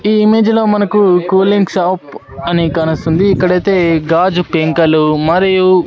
ఈ ఇమేజ్ లో మనకు కూలింగ్ షాప్ అని కానొస్తుంది ఇక్కడైతే గాజు పెంకలు మరియు--